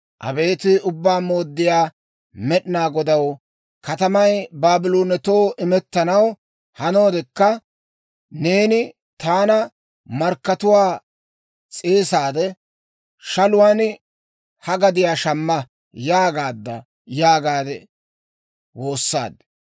Abeet Ubbaa Mooddiyaa Med'inaa Godaw, katamay Baabloonetoo imettanaw hanoodekka, neeni taana, ‹Markkatuwaa s'eesaade, shaluwaan ha gadiyaa shamma› yaagaadda» yaagaade woossaad.